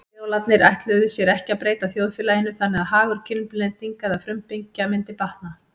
Kreólarnir ætluðu sér ekki að breyta þjóðfélaginu þannig að hagur kynblendinga eða frumbyggja myndi batna.